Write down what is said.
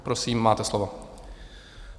Prosím, máte slovo.